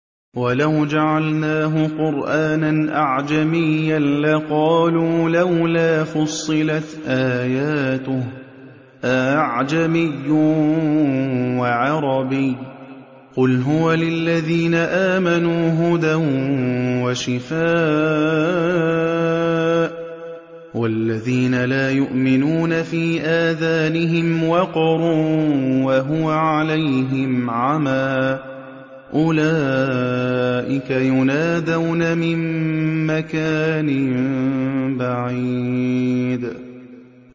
وَلَوْ جَعَلْنَاهُ قُرْآنًا أَعْجَمِيًّا لَّقَالُوا لَوْلَا فُصِّلَتْ آيَاتُهُ ۖ أَأَعْجَمِيٌّ وَعَرَبِيٌّ ۗ قُلْ هُوَ لِلَّذِينَ آمَنُوا هُدًى وَشِفَاءٌ ۖ وَالَّذِينَ لَا يُؤْمِنُونَ فِي آذَانِهِمْ وَقْرٌ وَهُوَ عَلَيْهِمْ عَمًى ۚ أُولَٰئِكَ يُنَادَوْنَ مِن مَّكَانٍ بَعِيدٍ